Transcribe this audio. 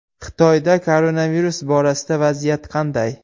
Xitoyda koronavirus borasida vaziyat qanday?